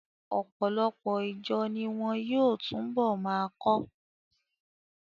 Ọ̀pọ̀lọpọ̀ ìjọ ni wọn yóò túnbọ̀ máa kọ́.